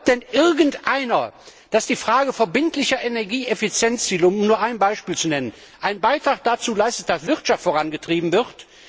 Glaubt denn irgendeiner, dass die Frage der verbindlichen Energieeffizienz um nur ein Beispiel zu nennen einen Beitrag dazu leistet, dass die Wirtschaft vorangetrieben wird?